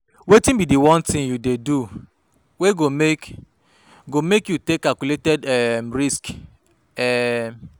wetin be di one thing you dey do wey go make go make you take calculated um risks? um